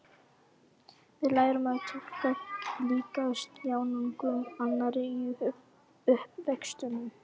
Við lærum að túlka líkamstjáningu annarra í uppvextinum.